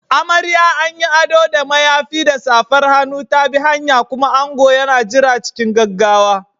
Amarya, an yi ado da mayafi da safar hannu, ta bi hanya, kuma ango yana jira cikin gaggawa.